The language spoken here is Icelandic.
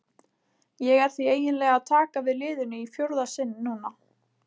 Ég er því eiginlega að taka við liðinu í fjórða sinn núna.